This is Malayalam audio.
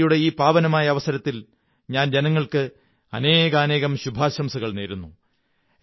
നവരാത്രിയുടെ ഈ പാവനമായ അവസരത്തിൽ ഞാൻ ജനങ്ങള്ക്ക്് അനേകാനേകം ശുഭാശംസകൾ നേരുന്നു